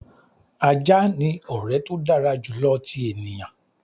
"Ajá ni ọrẹ to dara julọ ti eniyan."